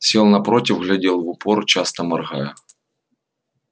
сел напротив глядел в упор часто моргая